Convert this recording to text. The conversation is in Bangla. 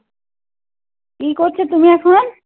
কি করছ তুমি এখন?